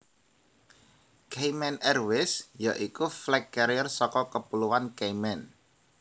Cayman Airways ya iku flag carrier saka Kepulauan Cayman